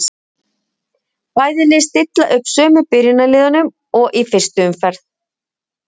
Bæði lið stilla upp sömu byrjunarliðum og í fyrstu umferð.